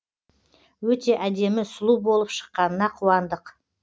өте әдемі сұлу болып шыққанына қуандық